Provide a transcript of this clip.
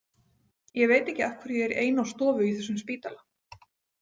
Ég veit ekki af hverju ég er ein á stofu á þessum spítala.